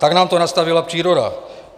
Tak nám to nastavila příroda.